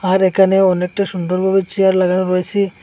আর এখানে অনেকটা সুন্দরভাবে চেয়ার লাগানো রয়েসে।